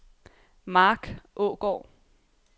Marc Aagaard